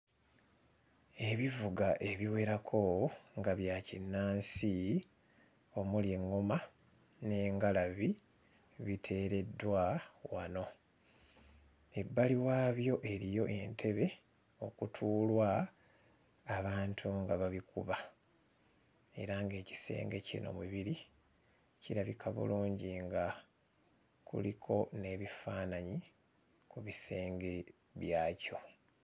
Ebivuga ebiwerako nga bya kinnansi omuli eŋŋoma n'engalabi biteereddwa wano ebbali waabyo eriyo entebe okutuulwa abauntu nga babikuba era ng'ekisenge kino mwe biri kirabika bulungi nga kuliko n'ebifaananyi ku bisenge byakyo.